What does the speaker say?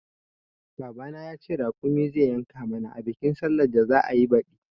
Baba na ya ce raƙumi zai yanka mana a bikin sallan da za'ayi baɗi